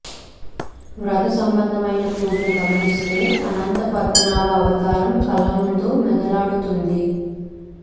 వ్రత సంబంధమైన పూజను గమనిస్తే అనంతపద్మనాభ అవతారం కళ్ల ముందు మెదలాడుతుంది